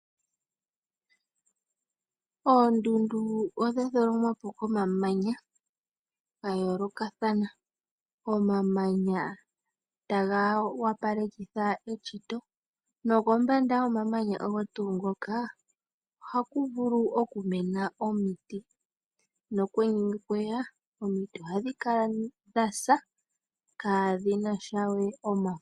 Oondundu odha tholomwa po komamanya gayoolokathana. Omamanya taga wopalekitha eshito nokombanda yomamanya ogo tuu ngoka ohaku vulu okumena omiti nokwenye ngele okweya omiti ohadhi kala dhasa kadhinasha we omafo.